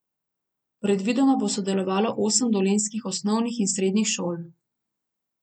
Predvidoma bo sodelovalo osem dolenjskih osnovnih in srednjih šol.